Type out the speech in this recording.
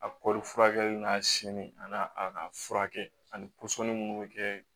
A kɔri furakɛli n'a si m'i a n'a a furakɛ ani minnu bɛ kɛ